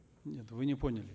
нет вы не поняли